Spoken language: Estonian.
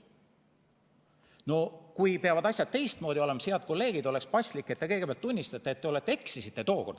No kui peavad asjad teistmoodi olema, siis, head kolleegid, oleks paslik, et te kõigepealt tunnistate, et te eksisite tookord.